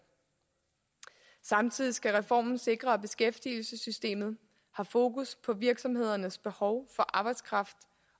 samtidig skal reformen sikre at beskæftigelsessystemet har fokus på virksomhedernes behov for arbejdskraft